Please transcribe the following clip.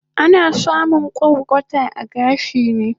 Ana samun kwarkwata a gashi ne